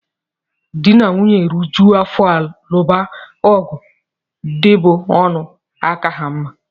Dị na nwunye rijuo afọ luba ọgụ ndị bú ọnụ aka ha mma